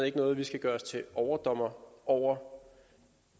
ikke noget vi skal gøre os til overdommer over